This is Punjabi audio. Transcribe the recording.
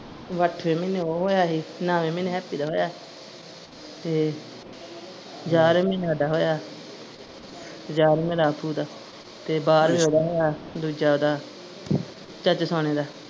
ਉਹ ਅੱਠ ਮਹੀਨੇ ਉਹ ਹੋਇਆ ਸੀ ਨੋਵੇ ਮਹੀਨੇ ਹੈਪੀ ਦਾ ਹੋਇਆ ਸੀ ਤੇ ਯਾਰਵੇ ਮਹੀਨੇ ਸਾਡਾ ਹੋਇਆ ਦਾ ਤੇ ਬਾਰਵੇਂ ਓਹਦਾ ਹੋਇਆ ਦੂਜਾ ਓਹਦਾ ਚਾਚੇ ਦਾ।